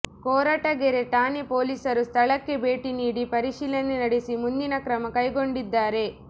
ಕೊರಟಗೆರೆ ಠಾಣೆ ಪೊಲೀಸರು ಸ್ಥಳಕ್ಕೆ ಭೇಟಿ ನೀಡಿ ಪರಿಶೀಲನೆ ನಡೆಸಿ ಮುಂದಿನ ಕ್ರಮ ಕೈಗೊಂಡಿದ್ದಾರೆ